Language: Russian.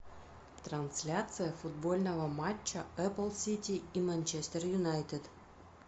трансляция футбольного матча апл сити и манчестер юнайтед